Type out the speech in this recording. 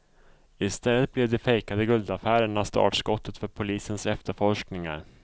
I stället blev de fejkade guldaffärerna startskottet för polisens efterforskningar.